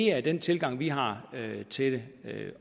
er den tilgang vi har til det